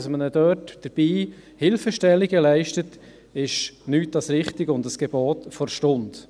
Dass man ihnen dafür Hilfestellungen leistet, ist nichts als richtig und ein Gebot der Stunde.